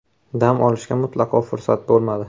Dam olishga mutlaqo fursat bo‘lmadi.